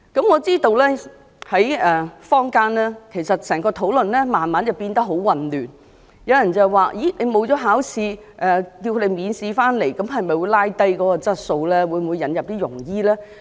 我知道坊間對這議題的討論逐漸變得很混亂，有人問，如果海外醫生不用考試，便讓他們免試回港執業，會否令香港的醫療質素下降？